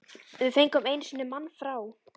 Við fengum einu sinni mann frá